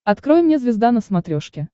открой мне звезда на смотрешке